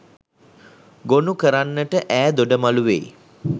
ගොනුකරන්නට ඈ දොඩමළු වෙයි